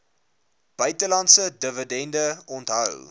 buitelandse dividende onthou